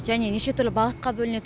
және неше түрлі бағытқа бөлінеді